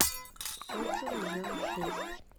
отзывы жэу шесть